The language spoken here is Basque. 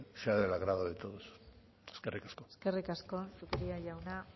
sea del agrado de todos eskerrik asko eskerrik asko zupiria jauna